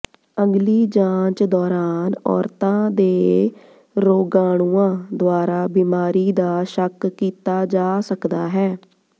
ਅਗਲੀ ਜਾਂਚ ਦੌਰਾਨ ਔਰਤਾਂ ਦੇ ਰੋਗਾਣੂਆਂ ਦੁਆਰਾ ਬੀਮਾਰੀ ਦਾ ਸ਼ੱਕ ਕੀਤਾ ਜਾ ਸਕਦਾ ਹੈ